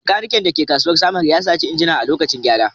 Maikanikan da ke kasuwar Samaru ya saci injina a lokacin gyara